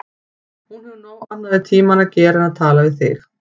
Hún hefur nóg annað við tímann að gera en tala við þig.